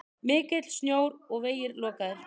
Mikill snjór og vegir lokaðir.